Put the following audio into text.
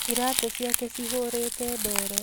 Iratũ ciake cihũrĩte ndoro